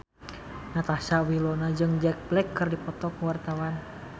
Natasha Wilona jeung Jack Black keur dipoto ku wartawan